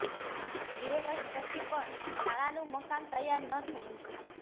બે વર્ષ પછી પણ શાળાનું મકાન તૈયાર ન થયું